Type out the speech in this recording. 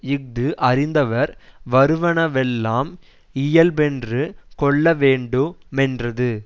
இஃது அறிந்தவர் வருவனவெல்லாம் இயல்பென்று கொள்ள வேண்டு மென்றது